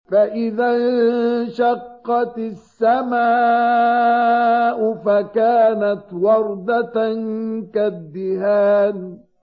فَإِذَا انشَقَّتِ السَّمَاءُ فَكَانَتْ وَرْدَةً كَالدِّهَانِ